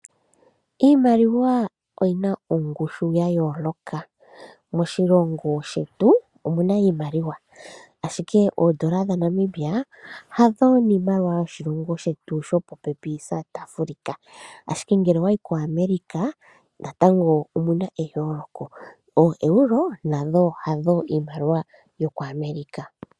Iimaliwa oyina ongushu ya yooloka, moshilongo shetu omuna iimaliwa ashike oondola dha Namibia hadho niimaliwa yoshilongo shetu shopopepi South Africa ashike ngele owayi ko America natango omuna eyooloko oo euro nadho hadho iimaliwa yoko America.